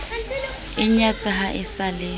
inyatsa ha e sa le